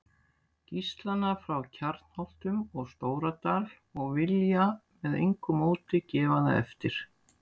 Gíslana frá Kjarnholtum og Stóradal og vilja með engu móti gefa það eftir.